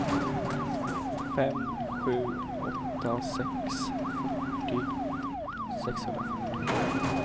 fem sju åtta sex fyrtio sexhundrafyrtio